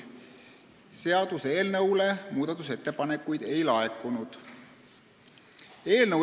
Seaduseelnõu kohta muudatusettepanekuid ei laekunud.